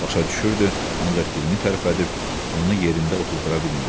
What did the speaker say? Başa düşürdü, ancaq dilini tərpədib onu yerində otuzdura bilmirdi.